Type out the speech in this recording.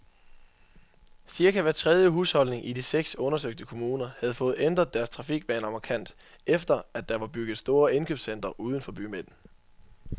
Cirka hver tredje husholdning i de seks undersøgte kommuner havde fået ændret deres trafikvaner markant, efter at der var bygget store indkøbscentre uden for bymidten.